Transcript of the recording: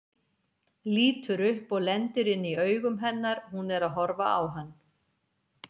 Lítur upp og lendir inn í augum hennar, hún er að horfa á hann.